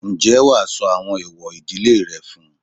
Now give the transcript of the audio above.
Ǹjẹ́ wàá sọ àwọn ẹ̀èwọ̀ ìdílé rẹ fún-un?